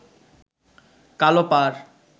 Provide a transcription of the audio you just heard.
কালো পাড়